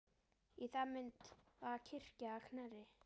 Í það mund var kirkja að Knerri.